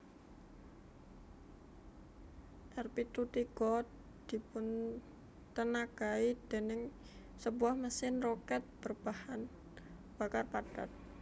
R pitu tiga dipuntenagai déning sebuah mesin roket berbahan bakar padat